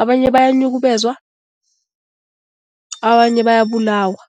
Abanye bayanyukubezwa, abanye bayabulawa.